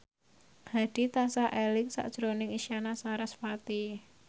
Hadi tansah eling sakjroning Isyana Sarasvati